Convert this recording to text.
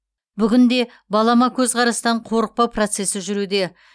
бүгінде балама көзқарастан қорықпау процесі жүруде